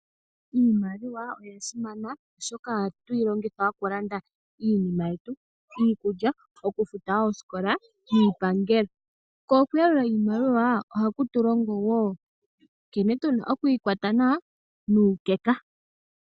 Iimaliwa oyasimana oshoka ohatuyi longitha okulanda iinima yetu iikulya, okufuta oosikola, niipangelo. Ko okuyalula iimaliwaa ohakutulongo woo nkene tuna okuyi kwata nawa nuukeka.